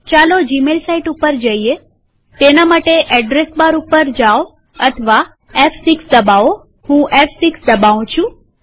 ચાલો Gmail site ઉપર જઈએતેના માટે એડ્રેસ બાર પર જાઓ અથવા ફ6 દબાવોહું ફ6 દબાઉં છું